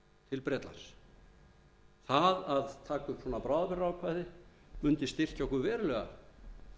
bretlands það að taka upp svona bráðabirgðaákvæði mundi styrkja okkur verulega